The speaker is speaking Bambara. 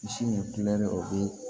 Misi nin o bɛ